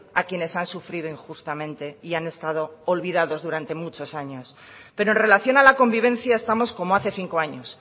a quienes han sufrido injustamente y han estado olvidados durante muchos años pero en relación a la convivencia estamos como hace cinco años